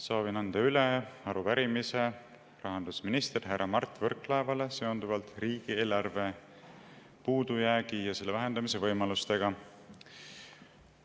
Soovin anda üle arupärimise rahandusminister härra Mart Võrklaevale seonduvalt riigieelarve puudujäägi ja selle vähendamise võimalustega.